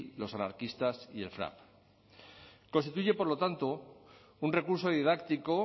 los anarquistas y el frap constituye por lo tanto un recurso didáctico